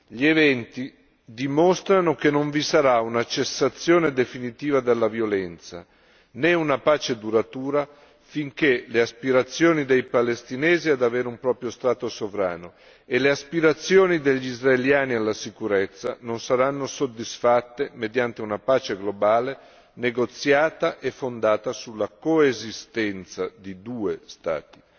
Gli eventi dimostrano che non vi sarà una cessazione definitiva della violenza, né una pace duratura, finché le aspirazioni dei palestinesi ad avere un proprio Stato sovrano e le aspirazioni degli israeliani alla sicurezza non saranno soddisfatte, mediante una pace globale, negoziata e fondata sulla coesistenza di due Stati.